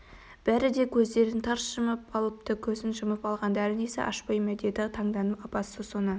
бәрі де көздерін тарс жұмып алыпты көзін жұмып алғандары несі ашпай ма деді таңданып апасы соны